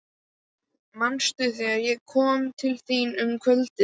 Manstu, þegar ég kom til þín um kvöldið.